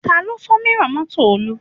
Taló fọ́ mírọ̀ mọ́tò Olú?